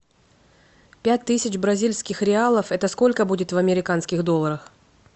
пять тысяч бразильских реалов это сколько будет в американских долларах